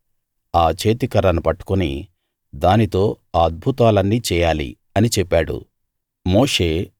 ఆ చేతికర్రను పట్టుకుని దానితో ఆ అద్భుతాలన్నీ చేయాలి అని చెప్పాడు